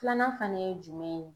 Filanan fana ye jumɛn ye?